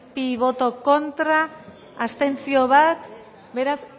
contra bat abstentzio beraz